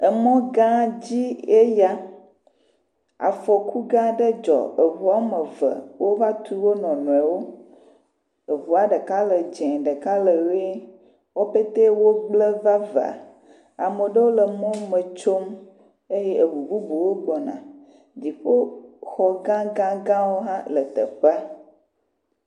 Mɔ gã dzie ya. Afɔku gã aɖe dzɔ. Ŋu eve wova tu wonuiwo. Ŋua ɖeka le dzɛ̃ ɖeka le ʋie. Wo petɛ wogblẽ vavã. Ame aɖewo le mɔ me tsom eye ŋu bubuwo gbɔna. Dziƒoxɔ gãgãgãwo hã le teƒea.